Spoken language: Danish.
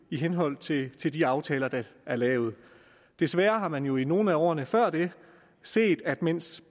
i henhold til til de aftaler der er lavet desværre har man jo i nogle af årene før det set at mens